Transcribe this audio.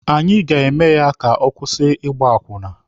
Anyị ga-eme ya ka ọ kwụsị ịgba akwụna.